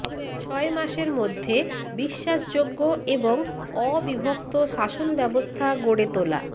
ছয় মাসের মধ্যে বিশ্বাসযোগ্য এবং অবিভক্ত শাসনব্যবস্থা গড়ে তোলা